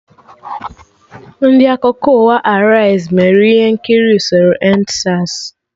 Ndị Akụkọ ụwa Araiz mere ihe nkiri usoro EndSARS